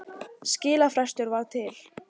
Skilafrestur var til